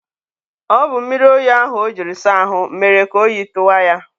ọ bụ mmiri oyi ahụ o jiri saa ahụ mere ka oyi tụwa ya.